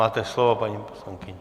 Máte slovo, paní poslankyně.